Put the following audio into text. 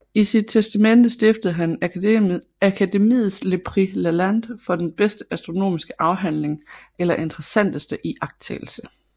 I sit testamente stiftede han Akademiets le prix Lalande for den bedste astronomiske afhandling eller interessanteste iagttagelse